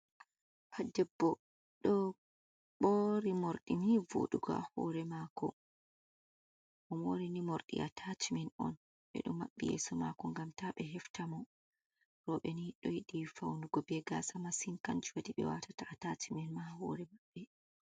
Ɗebbo do moori mordi ni voduga ha hore mako. O mori ni mordi atacimen. Odo mabbi yeso mako ngam ta be hefta mo. Robe ni do yidi faunugo be gasa masin kanjum wadi be watata atacimen ha hore mabbe.